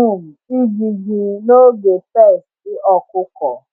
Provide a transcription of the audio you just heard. um ijiji n’oge pests ọkụkọ.